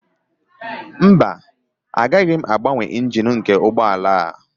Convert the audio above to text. Mba, agaghị m agbanwe engine nke ụgbọ ala a